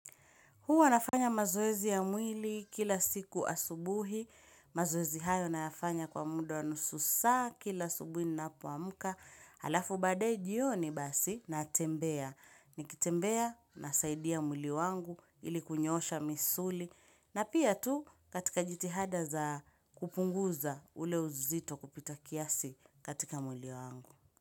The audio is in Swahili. Huwa nafanya mazoezi ya mwili kila siku asubuhi, mazoezi hayo nafanya kwa muda wa nusu saa kila subuhi ninapoamka. Alafu baadae jioni basi natembea, nikitembea nasaidia mwili wangu ilikunyoosha misuli na pia tu katika jitihada za kupunguza ule uzito kupita kiasi katika mwili wangu.